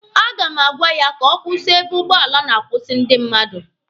A ga m agwa ya ka ọ kwụsị ebe ụgbọala na-akwụsị ndị mmadụ